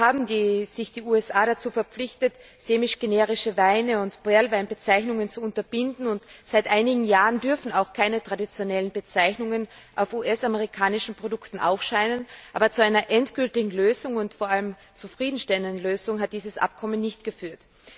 Zwar haben sich die USA dazu verpflichtet, semigenerische Weine und Perlweinbezeichnungen zu unterbinden, und seit einigen Jahren dürfen auch keine traditionellen Bezeichnungen auf US amerikanischen Produkten aufscheinen. Aber zu einer endgültigen und vor allem zufriedenstellenden Lösung hat dieses Abkommen nicht geführt.